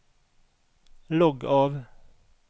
logg av